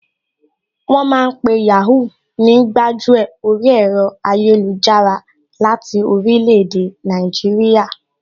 Wọ́n ma ń pe Yàhoo ní gbájú ẹ̀ orí ẹ̀rọ ayélujára láti orílẹ̀ èdè Nàìjíríà